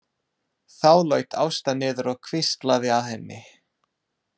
Þá laut Ásta niður og hvíslaði að henni.